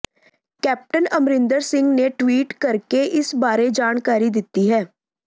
captain Amarinder Singh ਨੇ tweet ਕਰਕੇ ਇਸ ਬਾਰੇ ਜਾਣਕਾਰੀ ਦਿੱਤੀ ਹੈ